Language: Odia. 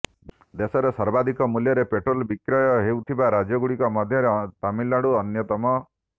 ଦେଶରେ ସର୍ବାଧିକ ମୂଲ୍ୟରେ ପେଟ୍ରୋଲ୍ ବିକ୍ରୟ ହେଉଥିବା ରାଜ୍ୟଗୁଡ଼ିକ ମଧ୍ୟରେ ତାମିଲ୍ନାଡୁ ଅନ୍ୟତମ